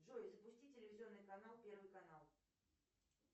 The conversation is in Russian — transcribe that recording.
джой запусти телевизионный канал первый канал